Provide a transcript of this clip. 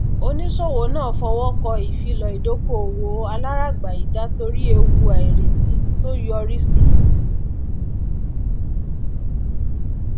oníṣòwò náà fọwọ kọ ìfilọ ìdokoowó aláragbayida torí ewu àìrètí tó yọrí síi